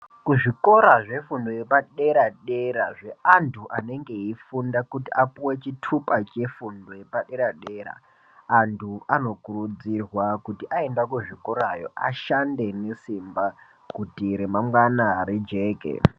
Kuzvikora zvefundo yepadera-dera zveantu anenge eifunda kuti apuwe chitupa chefundo yepadera-dera, antu anokurudzirwa kuti aenda kuzvikorayo ashande nesimba kuti remangwana rijeke.